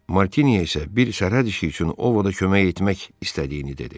Martini isə bir sərhəd işi üçün Ovoda kömək etmək istədiyini dedi.